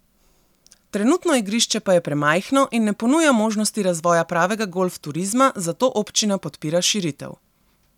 Trenutno igrišče pa je premajhno in ne ponuja možnosti razvoja pravega golf turizma, zato občina podpira širitev.